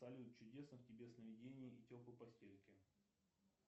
салют чудесных тебе сновидений и теплой постельки